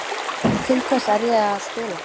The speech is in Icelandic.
Til hvers er ég að spila?